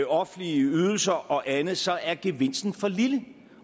offentlige ydelser og andet så er gevinsten for lille